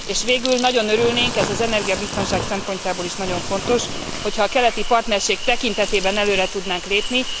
És végül nagyon örülnénk, ez az energiabiztonság szempontjából is nagyon fontos, hogyha a keleti partnerség tekintetében előre tudnánk lépni.